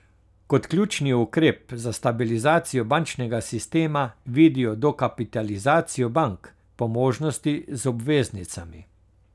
Kot ključni ukrep za stabilizacijo bančnega sistema vidijo dokapitalizacijo bank, po možnosti z obveznicami.